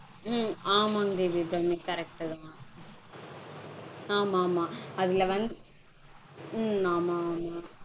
உம் ஆமாங் தேவி அபிராமி correct -தா. ஆமாமா அதுல வந் உம் ஆமாமா